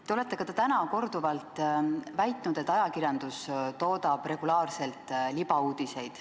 Te olete täna korduvalt väitnud, et ajakirjandus toodab regulaarselt libauudiseid.